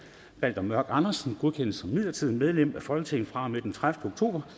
balder mørk andersen godkendes som midlertidigt medlem af folketinget fra og med den tredivete oktober